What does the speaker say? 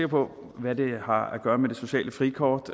på hvad det har at gøre med det sociale frikort